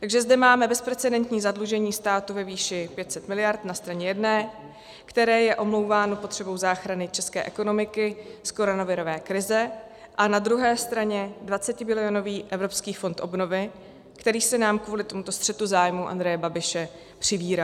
Takže zde máme bezprecedentní zadlužení státu ve výši 500 miliard na straně jedné, které je omlouváno potřebou záchrany české ekonomiky z koronavirové krize, a na druhé straně 20bilionový Evropský fond obnovy, který se nám kvůli tomuto střetu zájmů Andreje Babiše přivírá.